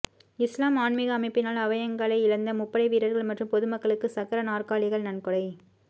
இஸ்லாம் ஆன்மீக அமைப்பினால் அவயங்களை இழந்த முப்படை வீரர்கள் மற்றும் பொதுமக்களுக்கும் சக்கர நாற்காலிகள் நன்கொடை